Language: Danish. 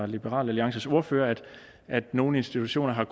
liberal alliances ordfører altså at nogle institutioner har